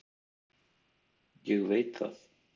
Ég veit það